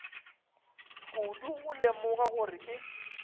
kudu go lemoga gore ke